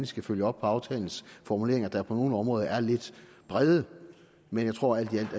skal følge op på aftalens formuleringer der på nogle områder er lidt brede men jeg tror at vi alt